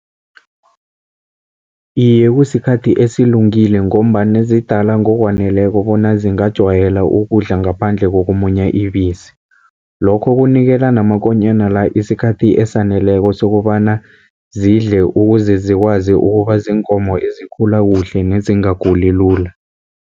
Iye, kusikhathi esilungile, ngombana zidala ngokwaneleko bona zingajwayela ukudla ngaphandle kokumunya ibisi. Lokho kunikela namakonyana la isikhathi esaneleko, sokobana zidle ukuze zikwazi ukuba ziinkomo ezikhula kuhle nezingaguli lula.